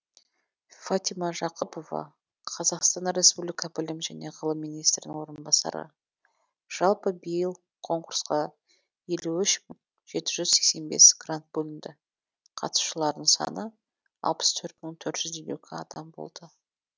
фатима жақыпова қазақстан республика білім және ғылым министрінің орынбасары жалпы биыл конкурсқа елу үш жеті жүз сексен бес грант бөлінді қатысушылардың саны алпыс төрт мың төрт жүз елу екі адам болды